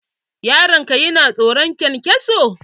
Yaron ka yana tsoron kyankyaso?